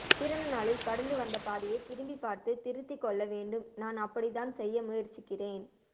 பிறந்த நாளில் கடந்து வந்த பாதையைத் திரும்பிப் பார்த்து திருத்திக் கொள்ள வேண்டும் நான் அப்படித்தான் செய்ய முயற்சிக்கிறேன்